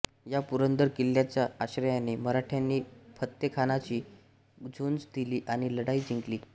या पुरंदर किल्ल्याच्या आश्रयाने मराठ्यांनी फत्तेखानाशी झुंज दिली आणि लढाई जिंकली